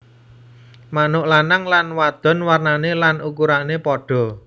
Manuk lanang lan wadon warnané lan ukurané padha